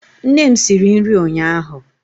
Nne m siri nri ụnyaahụ